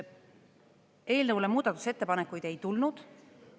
Eelnõu kohta muudatusettepanekuid ei tulnud.